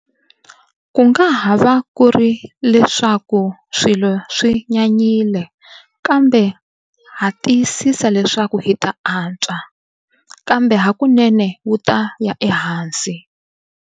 Ku nga ha va ku ri leswaku swilo swi nyanyile, kambe ha tiyisisa leswaku hi ta antswa. Kambe hakunene wu ta ya ehansi.